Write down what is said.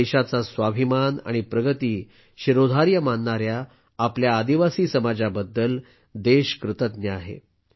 देशाचा स्वाभिमान आणि प्रगती शिरोधार्य मानणाऱ्या आपल्या आदिवासी समाजाबद्दल देश कृतज्ञ आहे